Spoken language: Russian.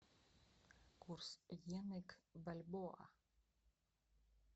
курс йены к бальбоа